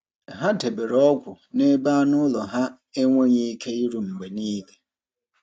Ha debere ọgwụ n’ebe anụ ụlọ ha enweghị ike iru mgbe niile.